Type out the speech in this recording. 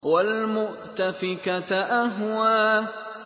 وَالْمُؤْتَفِكَةَ أَهْوَىٰ